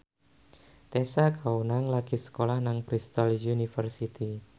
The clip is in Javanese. Tessa Kaunang lagi sekolah nang Bristol university